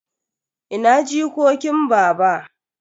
Ina jikokin baba?